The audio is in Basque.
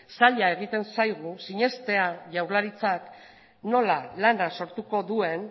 zaila egiten zaigu sinestea jaurlaritzak nola lana sortuko duen